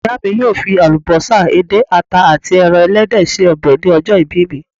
Ìyá mi yóò fi àlùbọ́sà, edé, àta àti ẹran ẹlẹ́dẹ̀ ṣe ọbẹ̀ ní ọjọ́ ìbí me